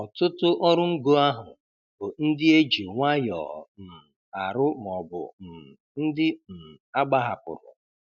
Ọtụtụ ọrụ ngo ahụ bụ ndị e ji nwayọọ um arụ maọbụ um ndị um agbahapụrụ.